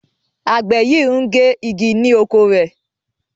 Àgbè yí ngè ìgi ni okọ̀ rẹ.